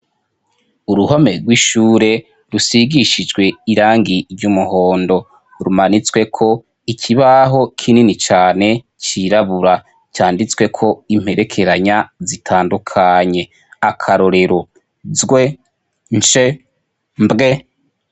Uruhome rw’ishure rusigishijwe irangi ry’umuhondo, rumanitsweko ikibaho kinini cane cirabura canditsweko imperekeranya zitandukanye. Akarorero: zw, nsh, mbw .